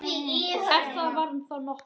Ef það var þá nokkuð.